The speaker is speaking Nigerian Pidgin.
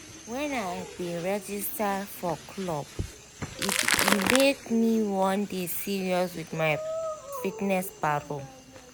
when i bin register for club e make me wan dey serious with my fitness paro